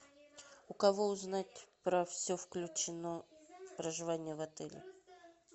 у кого узнать про все включено проживание в отеле